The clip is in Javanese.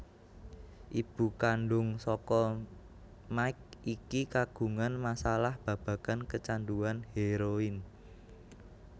Ibu kandhung saka Mike iki kagungan masalah babagan kecanduan hèroin